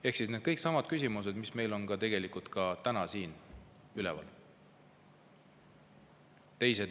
Ehk siis kõik needsamad küsimused, mis meil on tegelikult täna siin üleval.